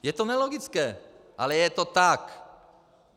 Je to nelogické, ale je to tak.